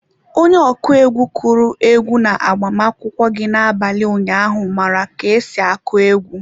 Onye ọkụ egwu kụrụ egwu na-agbamakwụkwọ gị na-abalị ụnyaahụ mara ka esi akụ egwu.